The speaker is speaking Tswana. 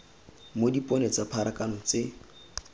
mo dipone tsa pharakano tse